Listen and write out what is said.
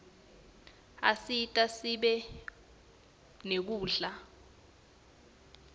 asita sibe nekudla